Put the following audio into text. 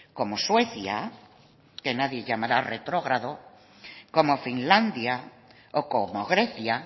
como suecia que nadie llamará retrógrado como finlandia o como grecia